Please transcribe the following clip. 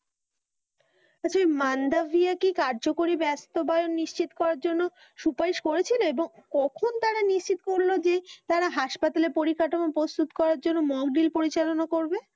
আচ্ছা ঐ মান্দাবিয়া কি কার্যকরী বাস্তবায়ন নিশ্চিত করার জন্য সুপারিশ করেছিল এবং কখন তারা নিশ্চিত করলো যে তারা হাসপাতালের পরিকাঠামো প্রস্তুত করার জন্য় mock drill পরিচালনা করবে?